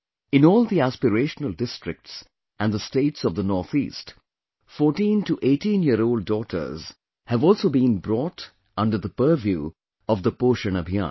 In all the Aspirational Districts and the states of the North East, 14 to 18 year old daughters have also been brought under the purview of the POSHAN Abhiyaan